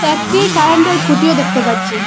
একটি কারেন্টের খুঁটিও দেখতে পাচ্ছি।